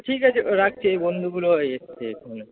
ঠিক আছে রাখছি এই বন্ধুগুলো এসেছে এক্ষুনি।